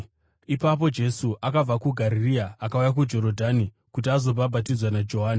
Ipapo Jesu akabva kuGarirea akauya kuJorodhani kuti azobhabhatidzwa naJohani.